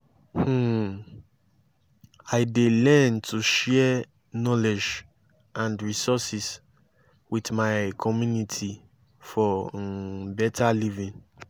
um i dey learn to share knowledge and resources with my community for um better living.